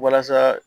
Walasa